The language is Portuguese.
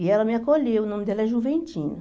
E ela me acolheu, o nome dela é Juventina.